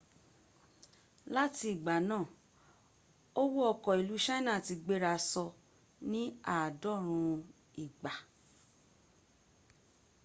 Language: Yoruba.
lati igba naa oko owo ilu china ti gbera so ni aadorun igba